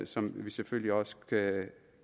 som vi selvfølgelig også